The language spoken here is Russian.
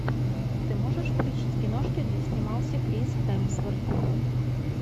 ты можешь включить киношки где снимался крис хемсворт